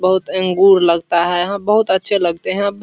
बहुत अंगूर लगता है यहाँ बहुत अच्छे लगते हैं यहाँ --